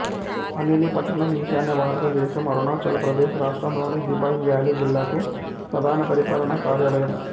అనిని పట్టణం ఈశాన్య భారతదేశం అరుణాచల్ ప్రదేశ్ రాష్ట్రంలోని దిబాంగ్ వ్యాలీ జిల్లాకు ప్రధాన పరిపాలనా కార్యాలయం